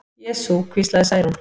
Jesú, hvíslaði Særún.